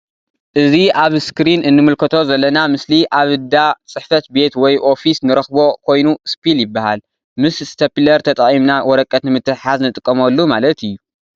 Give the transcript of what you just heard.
እዚ ኣብ እስክሪን እንምልከቶ ዘለና ምስሊ ኣብ ዳ ጽሕፈት ቤት ወይ ኦፊስ ንረክቦ ኮይኑ ስፒል ይበሃል ምስ እስተፒለር ተጠቂምና ወረቀት ንምትሕሓዝ ንጥቀመሉ ማለት እዩ።